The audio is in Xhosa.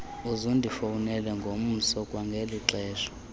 uzundifowunele ngomso kwangelixesha